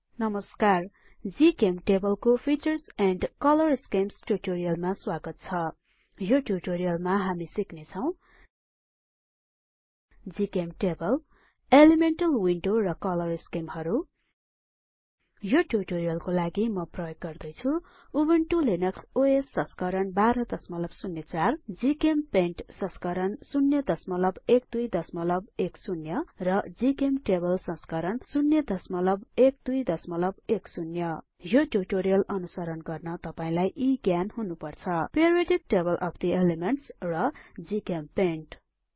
नमस्कार जीचेम्टेबल को features and colour schemes ट्युटोरियलमा स्वागत छ यो ट्युटोरियलमा हामी सिक्ने छौ जीचेम टेबल एलिमेन्टल विन्डो र कलर स्किमहरु यो ट्युटोरियलको लागि म प्रयोग गर्दै छु उबुन्टु लिनक्स ओएस संस्करण १२०४ ग्चेम्पेन्ट संस्करण ०१२१० र जीचेम्टेबल संस्करण ०१२१० यो ट्युटोरियल अनुसरण गर्न तपाईलाई यी ज्ञान हुनुपर्छ periodic table of the elements र ग्चेम्पेन्ट